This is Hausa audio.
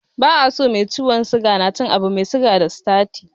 Ba a so mai ciwon suga na cin abu mai siga da sitati.